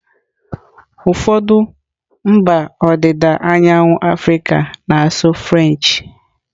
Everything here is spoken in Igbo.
Ụfọdụ mba ọdịda anyanwụ Africa na-asụ French.